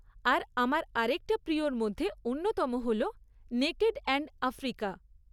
আর আমার আরেকটা প্রিয়র মধ্যে অন্যতম হল 'নেকেড এন্ড আফ্রিকা'।